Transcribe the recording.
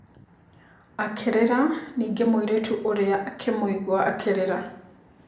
Akĩrĩra ningĩ mũirĩtu ũrĩa akĩmũigua akĩrĩra.